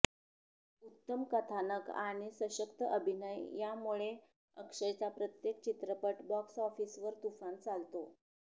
उत्तम कथानक आणि सशक्त अभिनय यामुळे अक्षयचा प्रत्येक चित्रपट बॉक्स ऑफिसवर तुफान चालतो